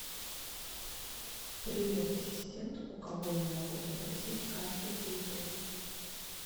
привет ассистент у кого я могу запросить карту территории